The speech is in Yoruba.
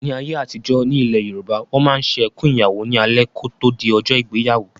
Ní ayé àtijọ́, ní ilẹ̀ Yorùbá, Wọ́n máa ń ṣe "Ẹkùn Ìyàwó" ní alẹ́ kò tó di ọjọ́ ìgbéyàwó